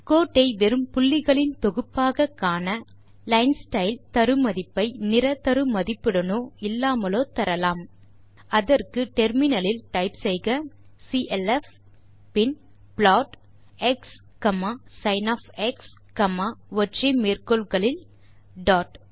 கோட்டை வெறும் புள்ளிகளின் தொகுப்பாக காண லைன்ஸ்டைல் தரு மதிப்பை நிற தரு மதிப்புடனோ இல்லாமலோ தரலாம் அதற்கு முனையத்தில் டைப் செய்க சிஎல்எஃப் பின் ப்ளாட் xsinஒற்றை மேற்கோள் குறிகளுக்குள் டாட்